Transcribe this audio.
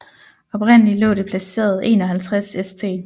Oprindelig lå det placeret 51 St